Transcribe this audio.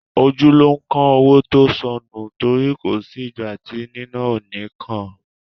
Ojú ló ń kán owó tó sọnù, tori ko si ìgbà ti níná ò ní kàn án